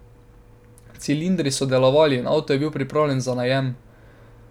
Cilindri so delovali in avto je bil pripravljen za najem.